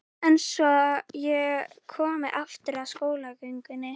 En svo ég komi aftur að skólagöngunni.